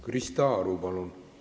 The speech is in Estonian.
Krista Aru, palun!